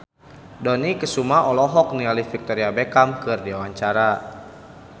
Dony Kesuma olohok ningali Victoria Beckham keur diwawancara